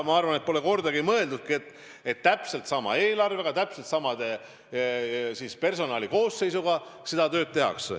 Ma arvan, et pole kordagi mõeldud, et täpselt sama eelarvega, täpselt sama personali koosseisuga peaks seda tööd tegema.